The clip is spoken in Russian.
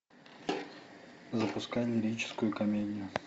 запускай лирическую комедию